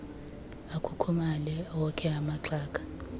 akhukhumale okhe amaxhaga